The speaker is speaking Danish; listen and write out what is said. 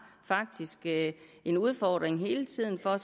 en udfordring hele tiden og